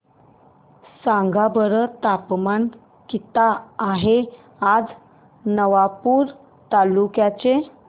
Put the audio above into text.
सांगा बरं तापमान किता आहे आज नवापूर तालुक्याचे